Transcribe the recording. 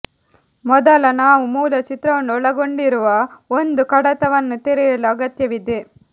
ಮೊದಲ ನಾವು ಮೂಲ ಚಿತ್ರವನ್ನು ಒಳಗೊಂಡಿರುವ ಒಂದು ಕಡತವನ್ನು ತೆರೆಯಲು ಅಗತ್ಯವಿದೆ